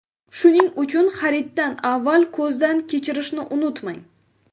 Shuning uchun xariddan avval ko‘zdan kechirishni unutmang.